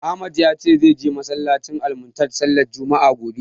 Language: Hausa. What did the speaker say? Ahmad ya ce min zai je masallacin "Almuntadha" sallar juma'a, gobe.